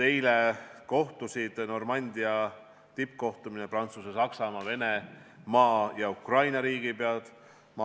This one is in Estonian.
Eile kohtusid Normandia tippkohtumisel Prantsusmaa, Saksamaa, Venemaa ja Ukraina riigipea.